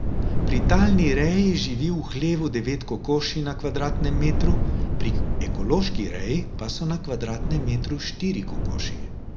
Pri talni reji živi v hlevu devet kokoši na kvadratnem metru, pri ekološki reji pa so na kvadratnem metru štiri kokoši.